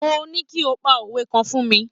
Mo ní kí o pa òwe kan fún mi.